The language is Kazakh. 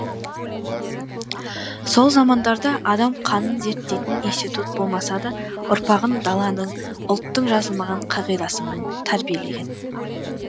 сол замандарда адам қанын зерттейтін институт болмаса да ұрпағын даланың ұлттың жазылмаған қағидасымен тәрбиелеген